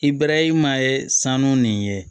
I bɛrɛma ye sanu nin ye